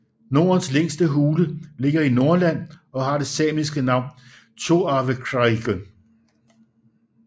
Nordens længste hule ligger i Nordland og har det samiske navn Tjoarvekrajgge